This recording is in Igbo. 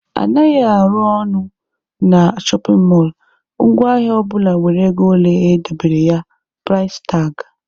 Anaghị arụ ọnụ na shọpin mọlụ, ngwa ahịa ọbụla nwere ego ole e dobere ya(price tag).